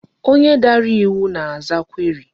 Onye dara iwu na-aza query.